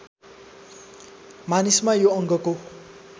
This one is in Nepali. मानिसमा यो अङ्गको